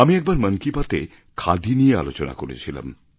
আমি একবার মন কি বাত এ খাদি নিয়ে আলোচনা করেছিলাম